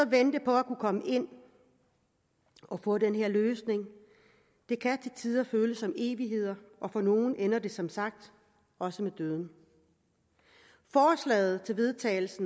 vente på at kunne komme ind og få den her løsning kan til tider føles som evigheder og for nogle ender det som sagt også med døden forslaget til vedtagelse